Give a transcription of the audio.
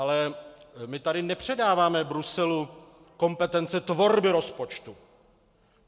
Ale my tady nepředáváme Bruselu kompetence tvorby rozpočtu.